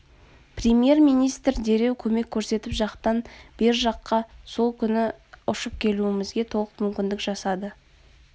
премьер-министр дереу көмек көрсетіп жақтан бер жаққа сол күні ұшып келуімізге толық мүмкіндік жасады